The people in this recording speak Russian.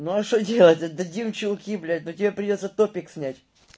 ну а что делать отдадим чулки блядь но тебе придётся топик снять